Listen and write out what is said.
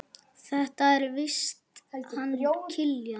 Þetta er víst hann Kiljan.